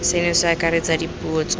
seno se akaretsa dipuo tsotlhe